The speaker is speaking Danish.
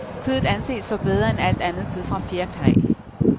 Kødet anses for bedre end alt andet kød fra fjerkræ.